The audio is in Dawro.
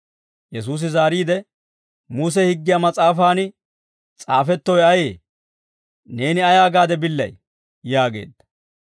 Yesuusi zaariide, «Muse higgiyaa mas'aafan s'aafettowe ayee? Neeni ayaa gaade billay?» yaageedda.